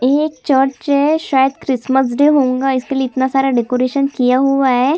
ये एक चर्च है शायद क्रिसमस डे होंगा शायद इसीलिए इतना सारा डेकोरेशन किया हुआ हैं।